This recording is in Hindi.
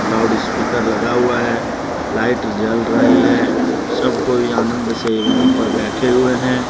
लाउड स्पीकर लगा हुआ है लाइट जल रही है सब कोई आनंद से यहां पर बैठे हुए हैं।